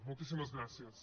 moltíssimes gràcies